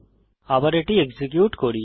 আবার এটি এক্সিকিউট করি